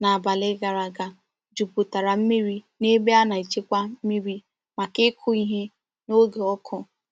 n’abali gara aga jupụtara mmiri n’ebe a na-echekwa mmiri maka ịkụ ihe n’oge ọkụ.